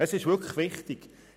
Es ist wirklich wichtig.